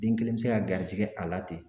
Den kelen bɛ se ka garisɛgɛ a la ten